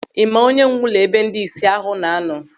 Ị ma onye nwe ụlọ ebe ndị ìsì ahụ na-anọ?